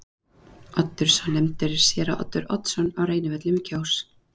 Oddur sá sem nefndur er er séra Oddur Oddsson á Reynivöllum í Kjós.